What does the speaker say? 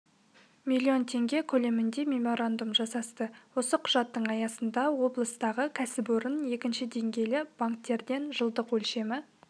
миллион теңге көлемінде меморандум жасасты осы құжаттың аясында облыстағы кәсіпорын екінші деңгейлі банктерден жылдық өлшемі